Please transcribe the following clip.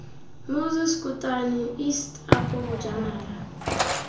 moses kotane east apo bojanala